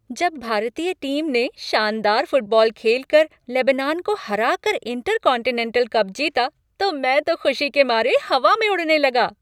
जब भारतीय टीम ने शानदार फुटबॉल खेलकर लेबनान को हराकर इंटरकॉन्टिनेंटल कप जीता, तो मैं तो खुशी के मारे हवा में उड़ने लगा।